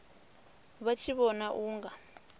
vha tshi vhona u nga